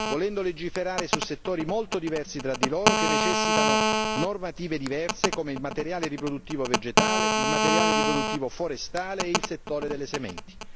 Volendo legiferare su settori molto diversi tra di loro, che necessitano normative diverse, come il materiale riproduttivo vegetale, il materiale riproduttivo forestale e il settore delle sementi.